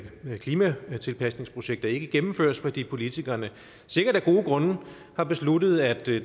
klimatilpasningsprojekter ikke gennemføres fordi politikerne sikkert af gode grunde har besluttet at det